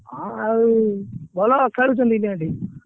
ହଁ ଆଉ ଭଲ ଖେଳୁଛନ୍ତି India team ।